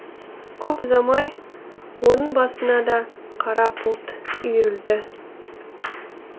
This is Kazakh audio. көп ұзамай оның басына да қара бұлт үйірілді